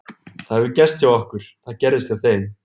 Það hefur gerst hjá okkur, það gerðist hjá þeim.